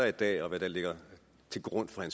i dag og hvad der ligger til grund for